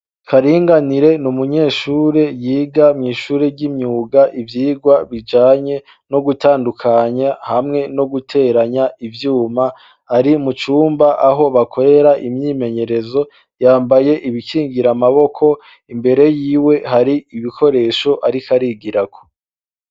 Karinganire ni umunyeshure yiga mw'ishure ry'imyuga ivyigwa bijanye no gutandukanya hamwe no guteranya ivyuma ari mucumba aho bakorera imyimenyerezo yambaye ibikingira amaboko imbere yiwe hari ibikoresho, ariko arigirako.